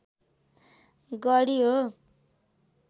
गढी हो